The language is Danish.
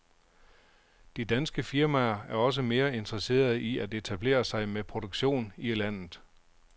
De danske firmaer er også mere interesserede i at etablere sig med produktion i landet.